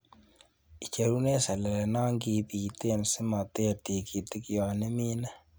Icheruren selele non kibiten simoter tikitik yon imine